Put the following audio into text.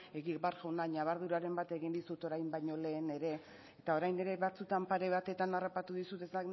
egibar jauna ñabarduraren bat egin dizut orain baino lehen ere eta orain ere batzutan pare batetan harrapatu dizut ez